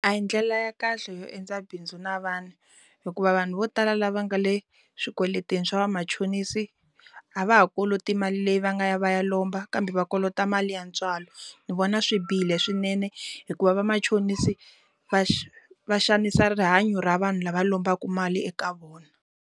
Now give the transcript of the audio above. A hi ndlela ya kahle yo endla bindzu na vanhu hikuva vanhu vo tala lava nga le swikweletini swa vamachonisi a va ha koloti mali leyi va nga ya va ya lomba kambe va kolota mali ya ntswalo ni vona swi bihile swinene hikuva vamachonisi va va xanisa rihanyo ra vanhu lava lombaku mali eka vona.